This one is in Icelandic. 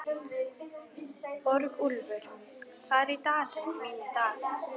Borgúlfur, hvað er í dagatalinu mínu í dag?